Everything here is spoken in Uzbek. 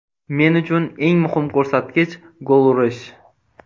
Men uchun eng muhim ko‘rsatkich gol urish.